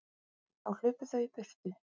Þá hlupu þau í burtu.